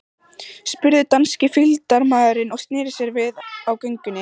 spurði danski fylgdarmaðurinn og sneri sér við á göngunni.